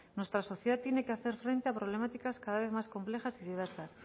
nuestra sociedad tiene que hacer frente a problemáticas cada vez más complejas y diversas